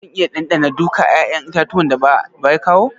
Zan iya dandana duka 'ya'yan itatuwan da baba ya kawu?